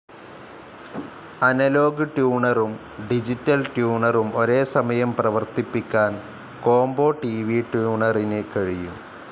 Analogue ട്യൂണറും digital ട്യൂണറും ഒരേ സമയം പ്രവർത്തിപ്പിക്കാൻ കോംബോ ട്‌ വി ട്യൂണറിന് കഴിയും.